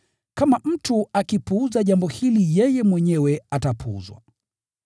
Kama mtu akipuuza jambo hili yeye mwenyewe atapuuzwa.